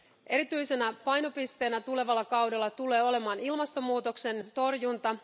Erityisenä painopisteenä tulevalla kaudella tulee olemaan ilmastomuutoksen torjunta.